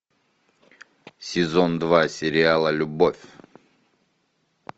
сезон два сериала любовь